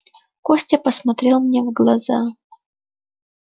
костя посмотрел мне в глаза